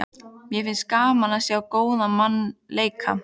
Mér finnst gaman að sjá góðan mann leika.